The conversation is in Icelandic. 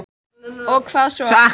Og hvað svo?